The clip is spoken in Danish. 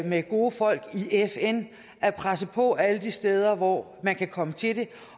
med gode folk i fn og at presse på alle de steder hvor man kan komme til det